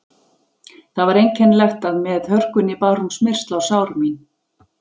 Það var einkennilegt að með hörkunni bar hún smyrsl á sár mín.